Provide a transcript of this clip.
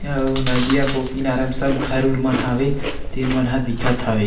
अउ नदिया के ओ किनारा म सब घर उर मन हवे तेन मन हन दिखत हवे।